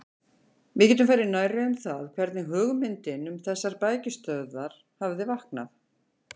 Við getum farið nærri um það, hvernig hugmyndin um þessar bækistöðvar hafði vaknað.